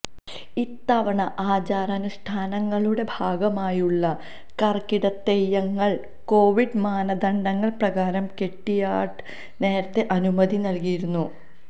ഇത്തവണ ആചാരാനുഷ്ഠാനങ്ങളുടെ ഭാഗമായുള്ള കര്ക്കിടകതെയ്യങ്ങള് കോവിഡ് മാനദണ്ഡങ്ങള് പ്രകാരം കെട്ടിയാടാന് നേരത്തെ അനുമതി നല്കിയിരുന്നു